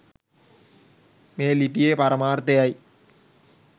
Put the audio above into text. මේ ලිපියේ පරමාර්ථයයි.